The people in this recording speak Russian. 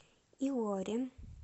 илорин